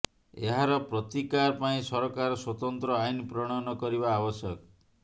ଏହାର ପ୍ରତିକାର ପାଇଁ ସରକାର ସ୍ୱତନ୍ତ୍ର ଆଇନ ପ୍ରଣୟନ କରିବା ଆବଶ୍ୟକ